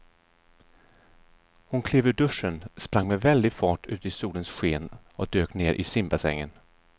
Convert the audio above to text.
Hon klev ur duschen, sprang med väldig fart ut i solens sken och dök ner i simbassängen.